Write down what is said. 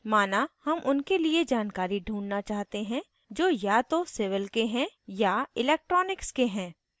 माना हम उनके लिए जानकारी ढूँढना चाहते हैं जो या तो civil के हैं या electronics के हैं